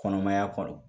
Kɔnɔmaya kɔnɔ